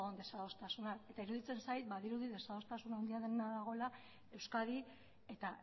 desadostasunak eta iruditzen zait badirudi desadostasuna handiak dagoela euskadi eta